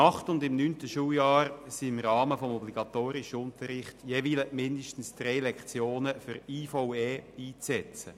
Im achten und im neunten Schuljahr sind im obligatorischen Unterricht jeweils mindestens drei Lektionen für die IVE einzusetzen.